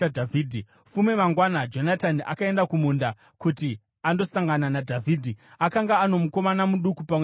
Fume mangwana, Jonatani akaenda kumunda kuti andosangana naDhavhidhi. Akanga ano mukomana muduku pamwe chete naye,